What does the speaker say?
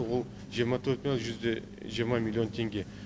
ол жиырма төрт мың жүз де жиырма миллион теңге